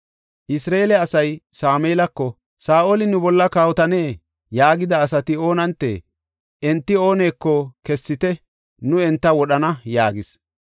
Isra7eele asay Sameelako, “Saa7oli nu bolla kawotane yaagida asati oonantee? Enti ooneko kessite; nu enta wodhana” yaagis.